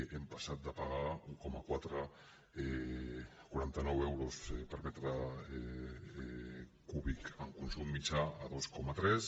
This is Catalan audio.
hem passat de pagar un coma quaranta nou euros per metre cúbic en consum mitjà a dos coma tres